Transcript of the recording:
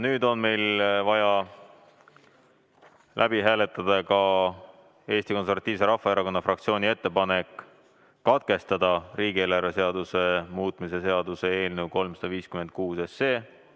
Nüüd on meil vaja läbi hääletada ka Eesti Konservatiivse Rahvaerakonna fraktsiooni ettepanek katkestada riigieelarve seaduse muutmise seaduse eelnõu 356.